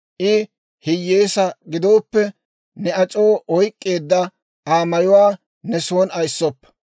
I hiyyeesaa gidooppe, ne ac'oo oyk'k'eedda Aa mayuwaa ne son ayissoppa.